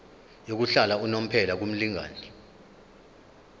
yokuhlala unomphela kumlingani